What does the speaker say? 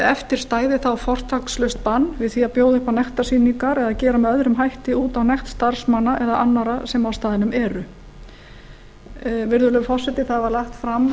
eftir stendur þá fortakslaust bann við því að bjóða upp á nektarsýningar eða að gera með öðrum hætti út á nekt starfsmanna eða annarra sem á staðnum eru virðulegi forseti það var lagt fram